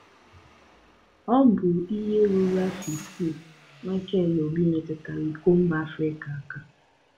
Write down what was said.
Ọ bụ ihe ruru afọ isii Mikel Obi metụrụ iko mba Afrịka aka.